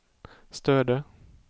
Stöde